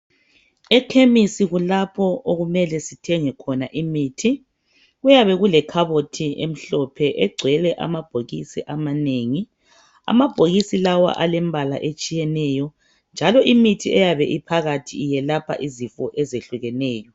E chemistry kulapho okumele sithenge khona imithi kuyabe kulekhabothi emhlophe egcwele amabhokisi amanengi amabhokisi lawa alemibala eyehlukeneyo njalo imithi leyi yelapha izifo ezehlukeneyo